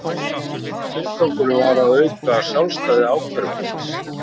Tilgangurinn var að auka sjálfstæði ákæruvaldsins